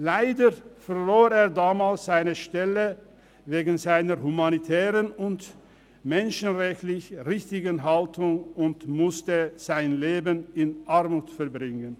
Leider verlor er damals seine Stelle wegen seiner humanitären und menschenrechtlich richtigen Haltung und musste sein Leben in Armut verbringen.